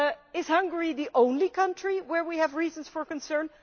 Is Hungary the only country where we have reason for concern?